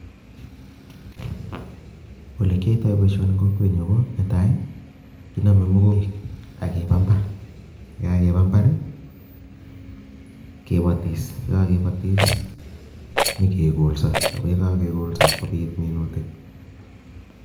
Ole kiyaitoi boisioni eng kokwenyu ko netai, ko kename mogoik ake baa imbaar, ye kakeba imbaar kebatis, ye kakebatis nyekekolso ako yeka kekolso kopit minutik.